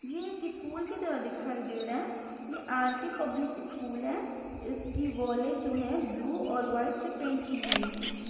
ये एक स्कूल की तरह दिखाई दे रहा है ये आर_के पब्लिक इस्कूल है इसकी वोले जो है ब्लू और व्हाइट से पेंट की हुई हैं।